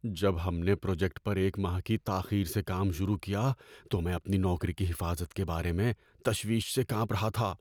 جب ہم نے پروجیکٹ پر ایک ماہ کی تاخیر سے کام شروع کیا تو میں اپنی نوکری کی حفاظت کے بارے میں تشویش سے کانپ رہا تھا۔